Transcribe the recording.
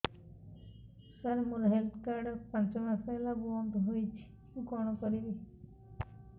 ସାର ମୋର health card ପାଞ୍ଚ ମାସ ହେଲା ବଂଦ ହୋଇଛି ମୁଁ କଣ କରିବି